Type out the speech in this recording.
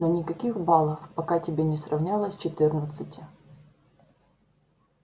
но никаких балов пока тебе не сравнялось четырнадцати